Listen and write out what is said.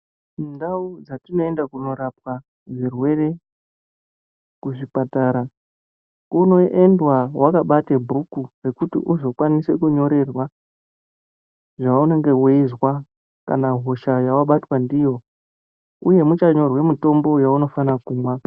Ndau dzatinoende kunorapwa zvirwere kuzvipatara, kunoendwa wakabata bhuku kuti uzokwanise kunyorerwa zvaunenge weizwa kana hosha yawabatwa ndiyo uye muchanyorwa mutombo waunofane kumwa.